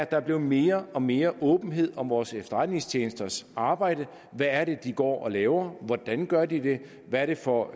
der er blevet mere og mere åbenhed om vores efterretningstjenesters arbejde hvad er det de går og laver hvordan gør de det hvad er det for